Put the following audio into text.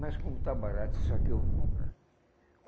Mas como está barato isso aqui, eu vou comprar.